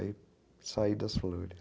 Aí saí das flores.